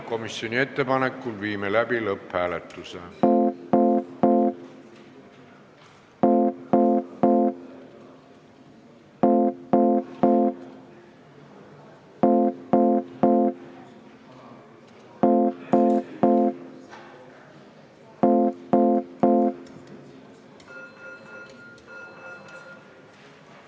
Komisjoni ettepanekul viime läbi lõpphääletuse.